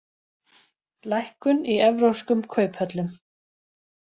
Lækkun í evrópskum kauphöllum